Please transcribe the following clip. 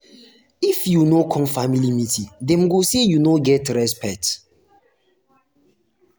if you no if you no come family meeting dem go say you no get respect.